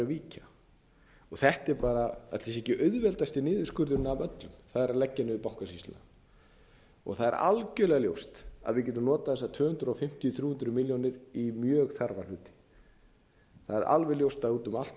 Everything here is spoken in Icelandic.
víkja ætli það sé ekki auðveldasti niðurskurðurinn af öllum að leggja niður bankasýsluna og það er algjörlega ljóst að við getum notað þessar tvö hundruð fimmtíu til þrjú hundruð milljónir í mjög þarfa hluti það er alveg ljóst að úti um allt